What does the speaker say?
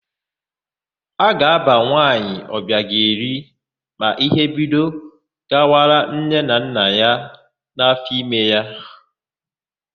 A ga-ábà nwaanyị Ọbịageli ma íhé bido gawara nne na nna ya n'áfọime ya.